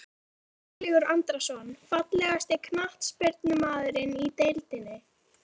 Viktor Örlygur Andrason Fallegasti knattspyrnumaðurinn í deildinni?